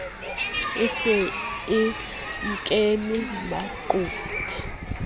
e se e nkeme maqothe